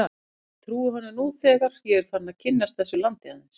Og ég trúi honum nú þegar ég er farinn að kynnast þessu landi aðeins.